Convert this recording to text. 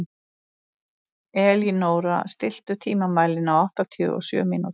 Elínóra, stilltu tímamælinn á áttatíu og sjö mínútur.